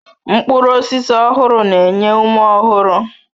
Mkpụrụ osisi ọhụrụ na-enye ume ọhụrụ